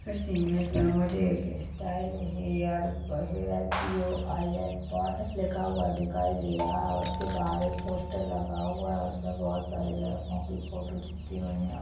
हर इस इमेज में मुझे एक स्टाइल हेयर ब hair P O I N लिखा हुआ दिखाई दे रहा है उसके बाहर एक पोस्टर लगा हुआ है उसमें बहुत सारे लड़कों की फोटो चिपकी हुई हैं।